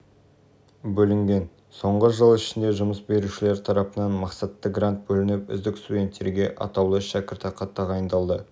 бөлінген соңғы жыл ішінде жұмыс берушілер тарапынан мақсатты грант бөлініп үздік студенттерге атаулы шәкіртақы тағайындалды